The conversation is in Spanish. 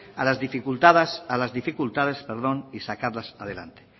a las dificultades y sacarlas adelante